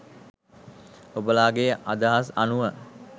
ඔබලාගෙ අදහස් අනුව